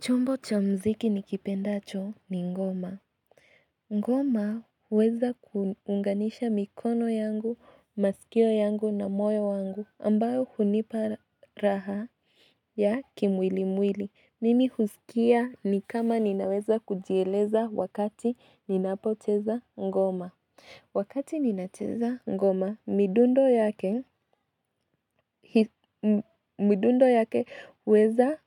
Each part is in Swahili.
Chombo cha mziki nikipendacho ni ngoma. Ngoma huweza kuunganisha mikono yangu, masikio yangu na moyo wangu ambayo hunipa raha ya kimwili mwili. Mimi husikia ni kama ninaweza kujieleza wakati ninapocheza ngoma. Wakati ninacheza ngoma midundo yake midundo yake huweza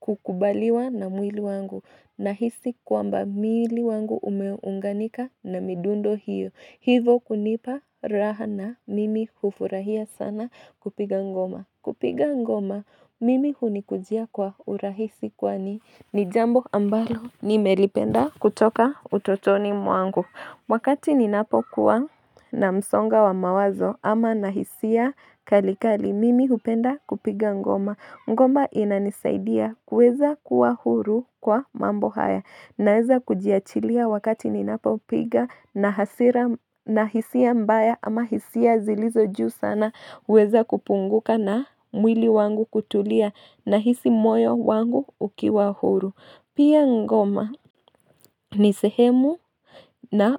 kukubaliwa na mwili wangu nahisi kwamba mwili wangu umeunganika na midundo hiyo Hivo kunipa raha na mimi kufurahia sana kupiga ngoma Kupiga ngoma mimi hunikujia kwa urahisi kwani ni jambo ambalo nimelipenda kutoka utotoni mwangu Wakati ninapokuwa na msongo wa mawazo ama nahisia kali kali mimi hupenda kupiga ngoma. Ngoma inanisaidia kuweza kuwa huru kwa mambo haya. Naeza kujiachilia wakati ninapopiga na hasira na hisia mbaya ama hisia zilizo juu sana. Huweza kupunguka na mwili wangu kutulia nahisi moyo wangu ukiwa huru. Pia ngoma ni sehemu na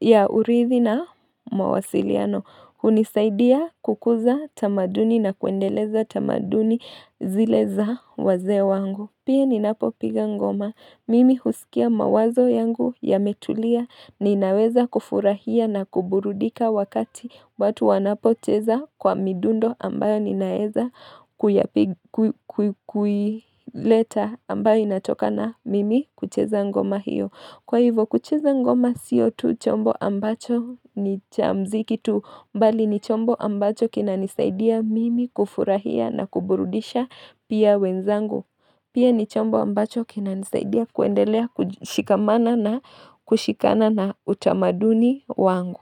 ya urithi na mawasiliano hunisaidia kukuza tamaduni na kuendeleza tamaduni zile za wazee wangu Pia ninapopiga ngoma Mimi husikia mawazo yangu yametulia Ninaweza kufurahia na kuburudika wakati watu wanapocheza kwa midundo ambayo ninaeza kuileta ambayo inatoka na mimi kucheza ngoma hiyo Kwa hivo kucheza ngoma siyo tu chombo ambacho ni cha mziki tu bali ni chombo ambacho kinanisaidia mimi kufurahia na kuburudisha pia wenzangu Pia ni chombo ambacho kinanisaidia kuendelea kushikamana na kushikana na utamaduni wangu.